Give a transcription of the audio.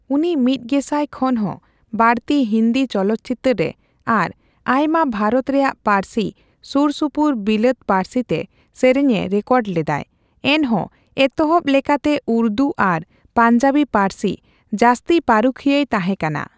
ᱩᱱᱤ ᱢᱤᱫ ᱜᱮᱥᱟᱭ ᱠᱷᱚᱱ ᱦᱚᱸ ᱵᱟᱲᱛᱤ ᱦᱤᱱᱫᱤ ᱪᱚᱞᱚᱛ ᱪᱤᱛᱟᱹᱨ ᱨᱮ ᱟᱨ ᱟᱭᱢᱟ ᱵᱷᱟᱨᱚᱛ ᱨᱮᱭᱟᱜ ᱯᱟᱹᱨᱥᱤ ᱥᱩᱨ ᱥᱩᱯᱩᱨ ᱵᱤᱞᱟᱹᱛ ᱯᱟᱹᱨᱥᱤ ᱛᱮ ᱥᱮᱨᱮᱧ ᱮ ᱨᱮᱠᱚᱨᱰ ᱞᱮᱫᱟᱭ ᱾ ᱮᱱᱦᱚᱸ ᱮᱛᱚᱦᱚᱵ ᱞᱮᱠᱟᱛᱮ ᱩᱨᱫᱩ ᱟᱨ ᱯᱟᱱᱡᱟᱵᱤ ᱯᱟᱹᱨᱥᱤ, ᱡᱟᱥᱛᱤ ᱯᱟᱨᱩᱠᱷᱤᱭᱟᱹᱭ ᱛᱟᱦᱮ ᱠᱟᱱᱟ ᱾